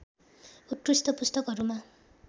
उत्कृष्ट पुस्तकहरूमा